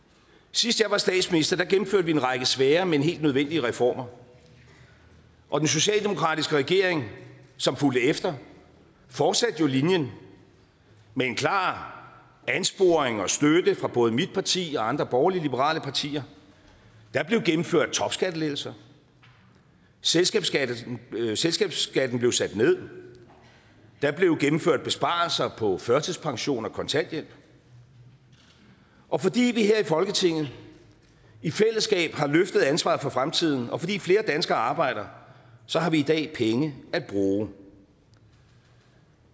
sidst jeg var statsminister gennemførte vi en række svære men helt nødvendige reformer og den socialdemokratiske regering som fulgte efter fortsatte jo linjen med en klar ansporing og støtte fra både mit parti og andre borgerlige liberale partier der blev gennemført topskattelettelser selskabsskatten selskabsskatten blev sat ned der blev gennemført besparelser på førtidspension og kontanthjælp og fordi vi her i folketinget i fællesskab har løftet ansvaret for fremtiden og fordi flere danskere arbejder så har vi i dag penge at bruge